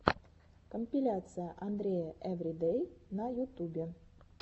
компиляция андрея эвридэй на ютубе